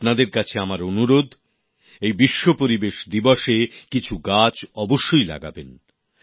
আপনাদের কাছে আমার অনুরোধ এই বিশ্ব পরিবেশ দিবসে কিছু গাছ অবশ্যই লাগাবেন